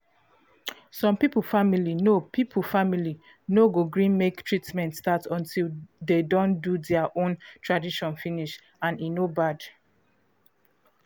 some people family no people family no go gree make treatment start until de don do dea own tradition finish and e no bad